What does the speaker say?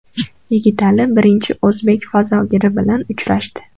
Yigitali birinchi o‘zbek fazogiri bilan uchrashdi.